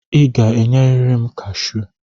I ga-enyeriri m kashụ!